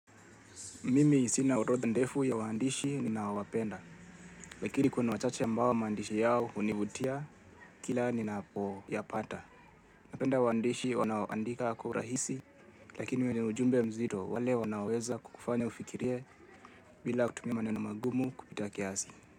Mimi sina orodha ndefu ya waandishi ninaowapenda, lakili kuna wachache ambao maandishi yao hunivutia kila ninapo yapata. Napenda waandishi wanaondika kwa urahisi lakini ujumbe mzito wale unoaweza kukufanya ufikirie bila kutumia maneno magumu kupita kiasi.